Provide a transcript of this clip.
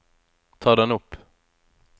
ta den opp